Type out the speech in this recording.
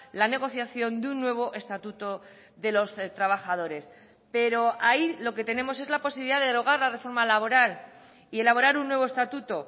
la negociación de un nuevo estatuto de los trabajadores pero ahí lo que tenemos es la posibilidad de derogar la reforma laboral y elaborar un nuevo estatuto